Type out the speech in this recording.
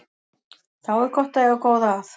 Þá er gott að eiga góða að.